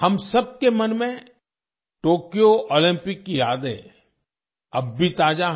हम सबके मन में टोक्यो ओलंपिक की यादें अब भी ताजा हैं